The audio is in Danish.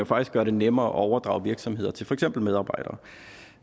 faktisk gøre det nemmere at overdrage virksomheder til for eksempel medarbejdere